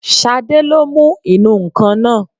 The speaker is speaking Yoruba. Ṣadé ló mú ìnù-ǹkan náà